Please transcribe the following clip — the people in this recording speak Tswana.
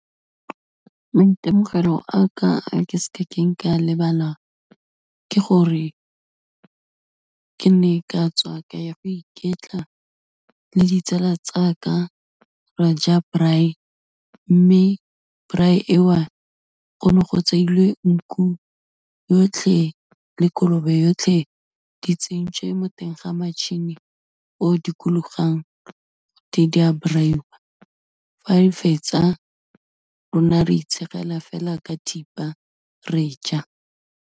Maitemogelo a ka, a ke sekeng ka lebala, ke gore ke ne ka tswa ka ya go iketla le ditsala tsaka ra ja braai, mme braai eo go ne go tseilwe nku yotlhe, le kolobe yotlhe, di tsentswe mo teng ga matšhini o dikologang, gote di a braai-wa, fa re fetsa rona re itshegela fela ka thipa, re ja.